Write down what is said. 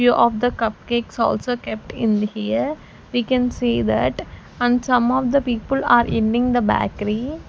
few of the cupcakes also kept in here we can see that and some of the people are ending the bakery.